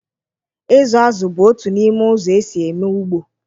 Ịzụ azụ bụ otu n'ime ụzọ esi eme ugbo.